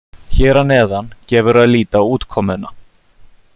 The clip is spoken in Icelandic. Hér að neðan gefur að líta útkomuna.